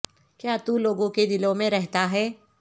کیا تو لوگوں کے دلوں میں رہتا ہے